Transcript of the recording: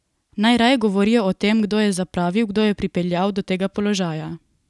Naj raje govorijo o tem, kdo je zapravil, kdo je pripeljal do tega položaja!